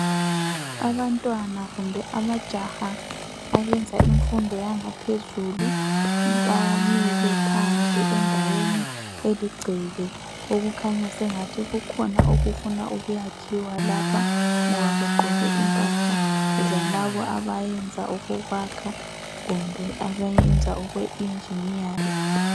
Abantwana kumbe amajaha abenza imfundo yangaphezulu bamile phandle endaweni eligceke, okukhanya sengathi kukhona okufuna ukwakhiwa lapha ngoba begqoke impahla zalabo abayenza okokwakha kumbe abayenza okwe injiniyaringi.